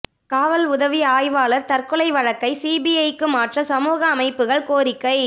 காவல் உதவி ஆய்வாளா் தற்கொலை வழக்கை சிபிஐக்கு மாற்ற சமூக அமைப்புகள் கோரிக்கை